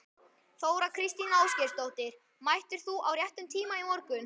Þóra Kristín Ásgeirsdóttir: Mættir þú á réttum tíma í morgun?